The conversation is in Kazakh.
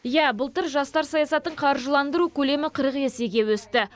иә былтыр жастар саясатын қаржыландыру көлемі қырық есеге өсті